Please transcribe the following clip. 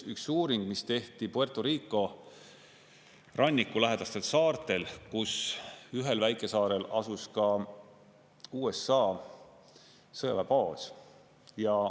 Üks uuring tehti Puerto Rico ranniku lähedastel saartel, kus ühel väikesaarel asus ka USA sõjaväebaas.